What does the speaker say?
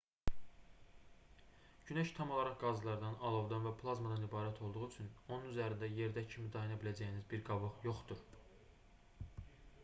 günəş tam olaraq qazlardan alovdan və plazmadan ibarət olduğu üçün onun üzərində yerdəki kimi dayana biləcəyiniz bir qabıq yoxdur